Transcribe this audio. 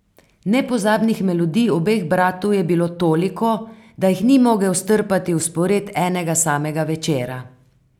Nepozabnih melodij obeh bratov je bilo toliko, da jih ni mogel strpati v spored enega samega večera.